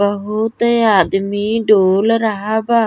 बहुते आदमी डोल रहा बा।